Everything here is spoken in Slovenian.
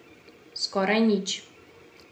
Skoraj nič.